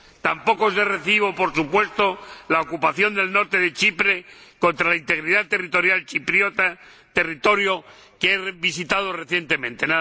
Tampoco es de recibo, por supuesto, la ocupación del norte de Chipre contra la integridad territorial chipriota, territorio que he visitado recientemente.